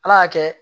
Ala y'a kɛ